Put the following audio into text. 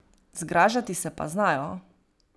Zgražati se pa znajo.